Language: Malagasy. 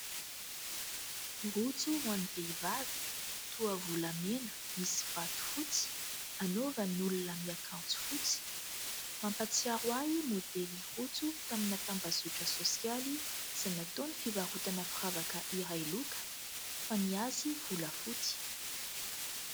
Rojo ho any vehivavy toa volamena misy vato fotsy anaovan'olona miakanjo fotsy. Mampatsiaro ahy modely rojo tamina tambazotra sosialy izay nataon'ny fivarotana firavaka iray loka fa ny azy volafotsy.